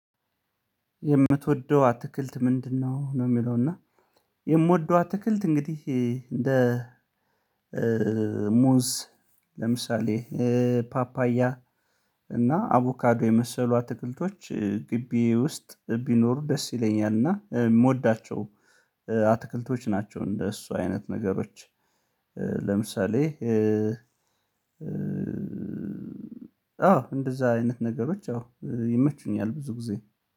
የምትወደው አትክልት ምንድነው ነው የሚለው? እና የምወደው አትክልት እንግዲህ እንደ ሙዝ ለምሳሌ ፓፓያ እና አቮካዶ የመሰሉ አትክልቶች ግቢ ውስጥ ቢኖሩ ደስ ይለኛል። እና የምወዳቸው አትክልቶች ናቸው እንደሱ አይነት ነገሮች። ለምሳሌ አዎ እንደዛ አይነት ነገሮች አዎ ይመችኛል ብዙ ጊዜ